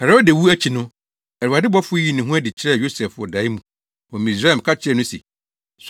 Herode wu akyi no, Awurade bɔfo yii ne ho adi kyerɛɛ Yosef wɔ dae mu wɔ Misraim ka kyerɛɛ no se,